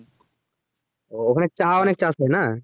ও ওখানে চা অনেক চাষ হয় না?